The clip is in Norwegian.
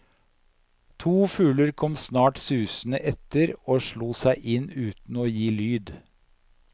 To fugler kom snart susende efter og slo seg inn uten å gi lyd.